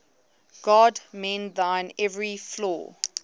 god mend thine every flaw